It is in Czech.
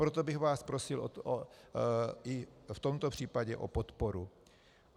Proto bych vás prosil i v tomto případě o podporu.